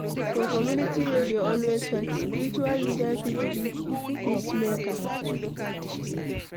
For community wey dey always fight, spiritual leader fit be peacemaker